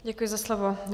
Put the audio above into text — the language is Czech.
Děkuji za slovo.